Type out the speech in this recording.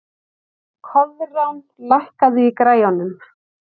Koðrán, lækkaðu í græjunum.